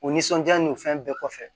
O nisɔndiya ni o fɛn bɛɛ kɔfɛ